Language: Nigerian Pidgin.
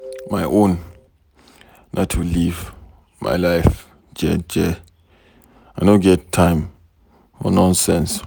My own na to live my life jeje, I know get time for nonsense.